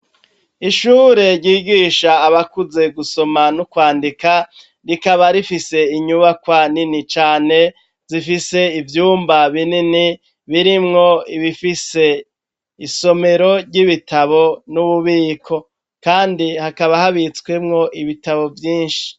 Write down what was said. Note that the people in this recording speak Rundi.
Ishure, ryigisha abakuze gusoma n'ukwandika, rikaba rifise inyubakwa nini cane, zifise ivyumba binini, birimwo ibifise isomero ry'ibitabo, n'ububiko; kandi, hakaba habitswemwo ibitabo vyinshi.